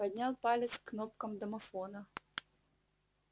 поднял палец к кнопкам домофона